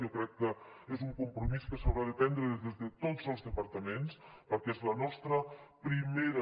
jo crec que és un compromís que s’haurà de prendre des de tots els departaments perquè és la nostra primera